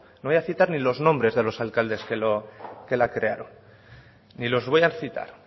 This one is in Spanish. no voy ni a citar los nombres de los alcaldes que la crearon ni los voy a citar